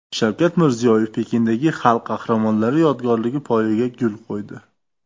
Shavkat Mirziyoyev Pekindagi Xalq qahramonlari yodgorligi poyiga gul qo‘ydi.